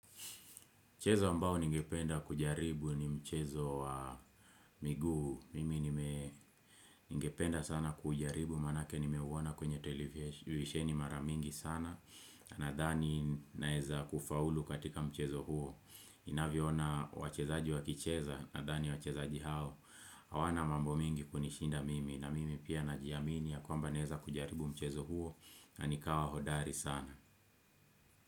Mchezo ambao ningependa kujaribu ni mchezo wa miguu. Mimi ningependa sana kujaribu maanake nimeuona kwenye television mara mingi sana. Nadhani naeza kufaulu katika mchezo huo. Ninavyo ona wachezaji wakicheza nadhani wachezaji hao. Hawana mambo mingi kunishinda mimi. Na mimi pia najiamini ya kwamba naeza kujaribu mchezo huo. Na nikawa hodari sana.